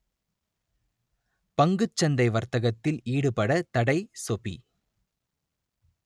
பங்கு சந்தை வர்த்தகத்தில் ஈடுபட தடை சொபி